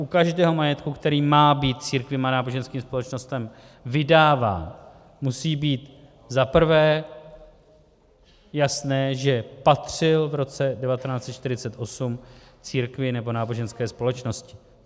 U každého majetku, který má být církvím a náboženským společnostem vydáván, musí být, za prvé, jasné, že patřil v roce 1948 církvi nebo náboženské společnosti.